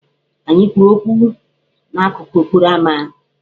Anyị kwuru okwu n'akụkụ okporoama.